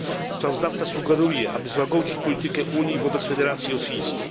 Sprawozdawca sugeruje, aby złagodzić politykę Unii wobec Federacji Rosyjskiej.